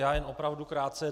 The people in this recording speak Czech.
Já jen opravdu krátce.